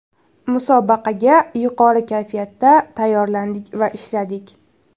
Musobaqaga yuqori kayfiyatda tayyorlandik va ishladik.